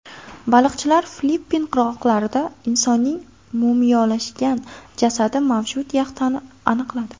Baliqchilar Filippin qirg‘oqlarida insonning mumiyolashgan jasadi mavjud yaxtani aniqladi.